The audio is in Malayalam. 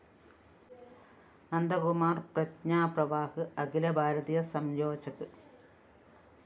നന്ദകുമാര്‍ പ്രജ്ഞാ പ്രവാഹ് അഖില ഭാരതീയ സംയോജക്